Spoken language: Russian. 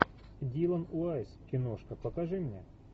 дилан уайсс киношка покажи мне